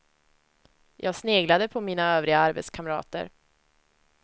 Jag sneglade på mina övriga arbetskamrater.